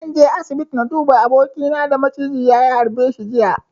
Zan je asibiti na duba abokina da maciji ya harba jiya.